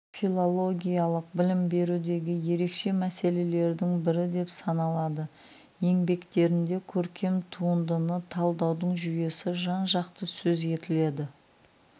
филологиялық білім берудегі ерекше мәселелердің бірі деп саналады еңбектерінде көркем туындыны талдаудың жүйесі жан-жақты сөз етіледі